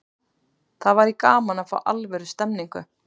Það væri gaman að fá alvöru stemningu.